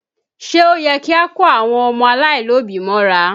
Ṣé ó yẹ kí a kó àwọn ọmọ aláìlóbí mọ́ra?